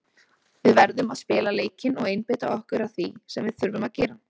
Við verðum að spila leikinn og einbeita okkur að því sem við þurfum að gera.